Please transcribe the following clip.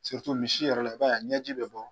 misi yɛrɛ la, b'a ye a ɲɛji bɛ bɔ.